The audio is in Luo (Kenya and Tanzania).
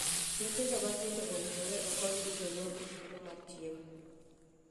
Nyithindo matindo owinjore okony gi jonyuol e thuolo mar chiemo.